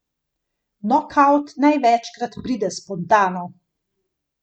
Nokavt največkrat pride spontano.